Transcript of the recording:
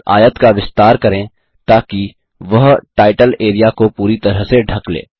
इस आयत का विस्तार करें ताकि वह टाइटल एरिया को पूरी तरह से ढ़क ले